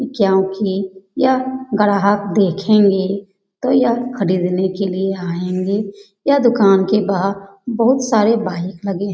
क्योंकि यह ग्राहक देखेंगे तो यह खरीदने के लिए आएंगे। यह दुकान के बाहर बहुत सारे बाइक लगे --